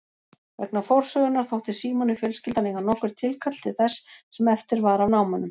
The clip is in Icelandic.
Vegna forsögunnar þótti Símoni fjölskyldan eiga nokkurt tilkall til þess sem eftir var af námunum.